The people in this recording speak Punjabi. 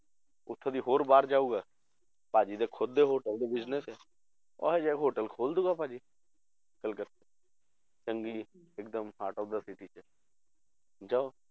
ਉੱਥੋਂ ਦੀ ਹੋਰ ਬਾਹਰ ਜਾਊਗਾ, ਭਾਜੀ ਦੇ ਖੁੱਦੇ ਦੇ hotel ਦੇ business ਹੈ, ਉਹ ਜਿਹਾ hotel ਖੋਲ ਦਊਗਾ ਭਾਜੀ ਇੱਕ ਦਮ heart of the city 'ਚ ਜਾਂ